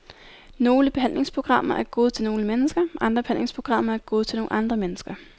Nogle behandlingsprogrammer er gode til nogle mennesker, andre behandlingsprogrammer er gode til nogle andre mennesker.